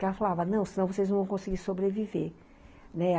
Porque ela falava, não, se não vocês não vão conseguir sobreviver, né.